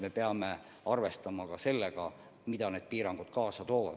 Me peame arvestama ka sellega, mida need piirangud kaasa toovad.